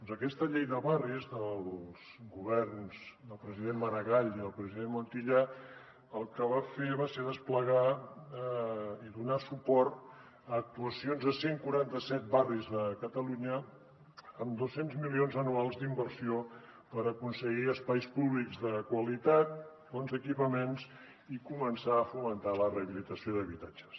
doncs aquesta llei de barris dels governs del president maragall i del president montilla el que va fer va ser desplegar i donar suport a actuacions a cent i quaranta set barris de catalunya amb dos cents milions anuals d’inversió per aconseguir espais públics de qualitat bons equipaments i començar a fomentar la rehabilitació d’habitatges